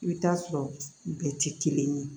I bɛ t'a sɔrɔ bɛɛ tɛ kelen ye